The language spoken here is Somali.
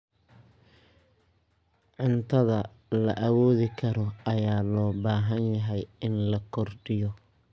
Cuntada la awoodi karo ayaa loo baahan yahay in la kordhiyo.